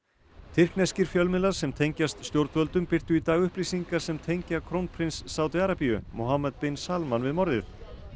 tyrkneskir fjölmiðlar sem tengjast stjórnvöldum birtu í dag upplýsingar sem tengja krónprins Sádi Arabíu bin Salman við morðið